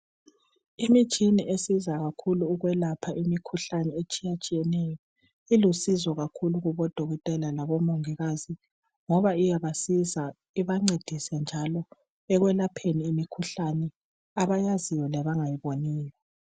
Imitshini esiza kakhulu ukwelapha imikhuhlane etshiyatshiyeneyo ilusizo kakhulu kubodokotela labomongikazi ngabe iyabasiza ibancedise njalo ekwelapheni imikhuhlane abayaziyo labangayiboniyo.